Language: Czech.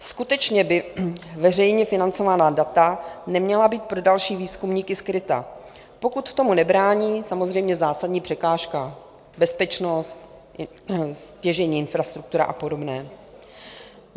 Skutečně by veřejně financovaná data neměla být pro další výzkumníky skryta, pokud tomu nebrání samozřejmě zásadní překážka - bezpečnost, stěžejní infrastruktura a podobné.